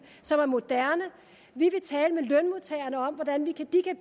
som er moderne vi vil tale med lønmodtagerne om hvordan de kan